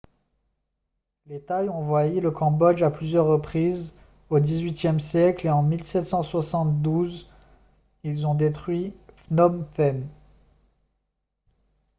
les thaïs ont envahi le cambodge à plusieurs reprises au xviiie siècle et en 1772 ils ont détruit phnom phen